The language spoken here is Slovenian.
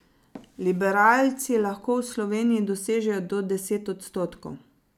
Liberalci lahko v Sloveniji dosežejo do deset odstotkov.